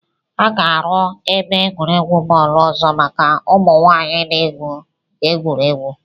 A ga-aru ebe egwuregwu bọọlụ ọzọ maka ụmụ nwanyị na-egwu egwuregwu